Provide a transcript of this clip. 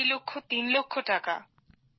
আড়াই লক্ষ তিন লক্ষ টাকা